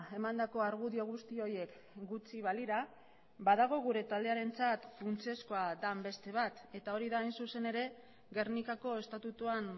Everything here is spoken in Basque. emandako argudio guzti horiek gutxi balira badago gure taldearentzat funtsezkoa den beste bat eta hori da hain zuzen ere gernikako estatutuan